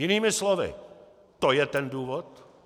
Jinými slovy, to je ten důvod!